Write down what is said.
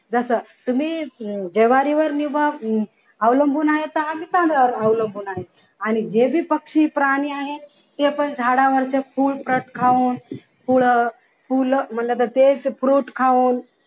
जस तुम्ही ज्वारीवर अवलंबून आहे तस आम्ही तांदळावर अवलंबून आहे आणि जे भी पक्षी प्राणी आहे ते पण झाडावरचे फुल fruit खाऊन झाडावरचे fruit खाऊन